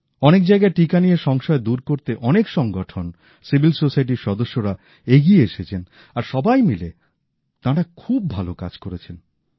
অনেক জায়গায় টিকা নিয়ে সংশয় দূর করতে অনেক সংগঠন সুশীল সমাজের সদস্যরা এগিয়ে এসেছেন আর সবাই মিলে তাঁরা খুব ভালো কাজ করছেন